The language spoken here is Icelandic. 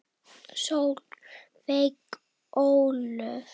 Solveig Ólöf.